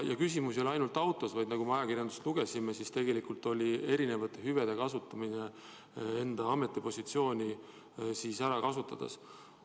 Ja küsimus ei ole ainult autos, vaid nagu me ajakirjandusest lugesime, tegelikult oli küsimus erinevate hüvede kasutamises oma ametipositsiooni ära kasutades.